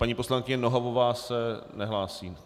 Paní poslankyně Nohavová se nehlásí?